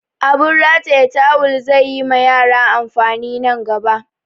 Abun rataya tawul zai yi ma yara amfani nan gaba